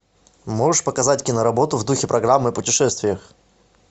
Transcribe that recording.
можешь показать киноработу в духе программы о путешествиях